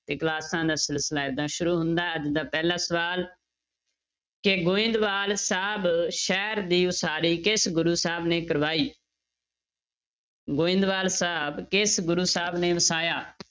ਇਹ ਕਲਾਸਾਂ ਦਾ ਸਿਲਸਿਲਾ ਏਦਾਂ ਸ਼ੁਰੂ ਹੁੰਦਾ ਹੈ ਅੱਜ ਦਾ ਪਹਿਲਾ ਸਵਾਲ ਕਿ ਗੋਬਿੰਦਵਾਲ ਸਾਹਿਬ ਸ਼ਹਿਰ ਦੀ ਉਸਾਰੀ ਕਿਸ ਗੁਰੂ ਸਾਹਿਬ ਨੇ ਕਰਵਾਈ ਗੋਬਿੰਦਵਾਲ ਸਾਹਿਬ ਕਿਸ ਗੁਰੂ ਸਾਹਿਬ ਨੇ ਵਸਾਇਆ?